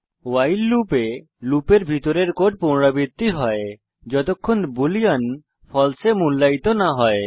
ভাইল লুপে লুপের ভিতরের কোড পুনরাবৃত্তি হয় যতক্ষণ বুলিন ফালসে এ মূল্যায়িত না হয়